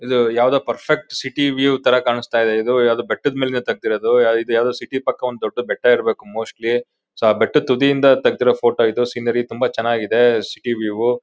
ಇದು ಯಾವ್ದೋ perfect city view ಥರ ಕಾಣ್ಸ್ತ ಇದೆ. ಇದು ಯಾವ್ದೋ ಬೆಟ್ಟದ್ ಮೇಲಿಂದ ತಗ್ಡಿರದು ಇದ್ ಯಾವ್ದೋ ಸಿಟಿ ಪಕ್ಕ ಒಂದ್ ದೊಡ್ದು ಬೆಟ್ಟ ಇರ್ಬೋದು ಮೋಸ್ಟ್ಲಿ . ಸೊ ಆ ಬೆಟ್ಟದ್ ತುದಿ ಇಂದ ತಗ್ಡಿರೋ ಫೋಟೋ ಇದು. ಸೀನೇರಿ ತುಂಬಾ ಚೆನಾಗಿದೆ ಸಿಟಿ ವ್ಯೂ .